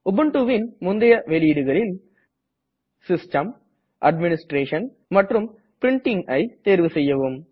Ubuntuவின் முந்தய வெளியிடுகளில் system administration மற்றும் Printingஐ தேர்வு செய்யவும்